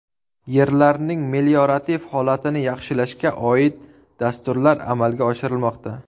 Yerlarning meliorativ holatini yaxshilashga oid dasturlar amalga oshirilmoqda”.